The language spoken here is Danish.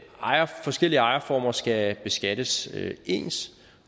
forskellige ejerformer skal beskattes ens